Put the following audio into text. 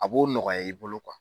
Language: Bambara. A b'o nɔgɔya i bolo